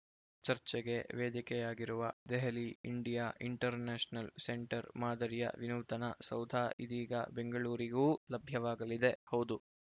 ಚರ್ಚೆಗೆ ವೇದಿಕೆಯಾಗಿರುವ Delhi India international centre ಮಾದರಿಯ ವಿನೂತನ ಸೌಧ ಇದೀಗ ಬೆಂಗಳೂರಿಗೂ ಲಭ್ಯವಾಗಲಿದೆ ಹೌದು